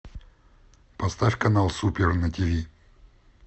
поставь канал супер на тв